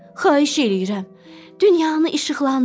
Xahiş eləyirəm, dünyanı işıqlandır.